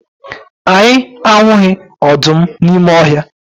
Anyị ahụghị ọdụm n'ime ọhịa.